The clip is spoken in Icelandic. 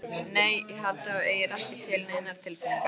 Nei. ég held að þú eigir ekki til neinar tilfinningar.